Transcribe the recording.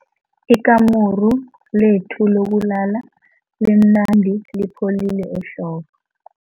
Ikamuru lethu lokulala limnandi lipholile ehlobo.